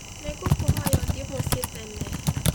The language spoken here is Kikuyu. Ni ngũkũhoya ithuĩ Mũciĩ tene